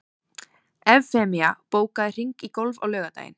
Evfemía, bókaðu hring í golf á laugardaginn.